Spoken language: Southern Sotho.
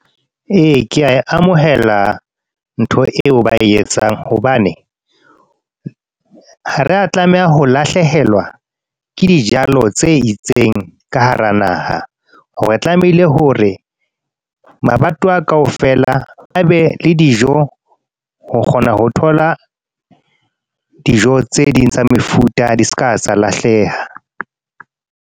Ee, ke a e amohela ntho eo ba e etsang. Hobane, ha re a tlameha ho lahlehelwa, ke dijalo tse itseng ka hara naha. Re tlamehile hore, mabato a kaofela a be le dijo. Ho kgona ho thola, dijo tse ding tsa mefuta di seka tsa lahleha.